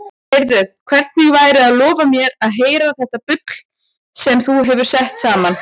Heyrðu, hvernig væri að lofa mér að heyra þetta bull sem þú hefur sett saman?